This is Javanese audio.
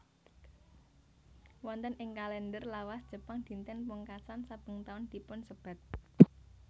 Wonten ing kalender lawas Jepang dinten pungkasan saben taun dipunsebat